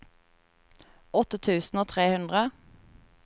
åtte tusen og tre hundre